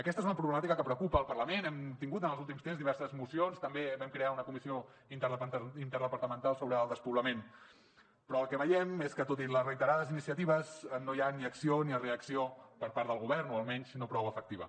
aquesta és una problemàtica que preocupa el parlament hem tingut en els últims temps diverses mocions també vam crear una comissió interdepartamental sobre el despoblament però el que veiem és que tot i les reiterades iniciatives no hi ha ni acció ni reacció per part del govern o almenys no prou efectiva